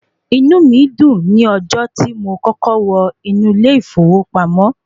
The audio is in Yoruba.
Inú mi dùn ní ọjọ́ tí mo kọ́kọ́ wọ inú ilé ìfowópamọ́.